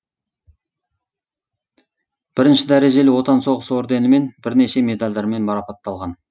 бірінші дәрежелі отан соғысы орденімен бірнеше медальдармен марапатталған